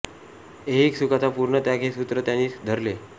ऐहिक सुखाचा पूर्णं त्याग हे सूत्र त्यांनी धरले